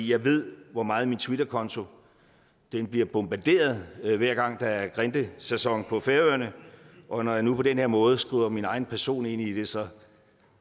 jeg ved hvor meget min twitterkonto bliver bombarderet hver gang der er grindesæson på færøerne og når jeg nu på den her måde skriver min egen person ind i det så